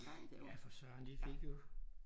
Ja for Søren de fik jo